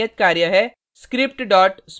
यहाँ आपके लिए नियत कार्य है